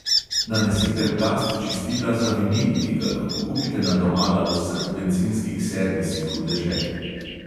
Nanesite plast čistila za vinil, ki ga lahko kupite na domala vseh bencinskih servisih v deželi.